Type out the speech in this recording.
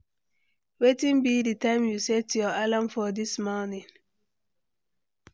Wetin be di time you set your alarm for dis morning?